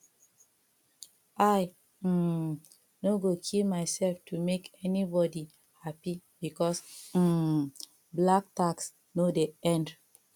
i um no go kill myself to make anybodi hapi because um black tax no dey end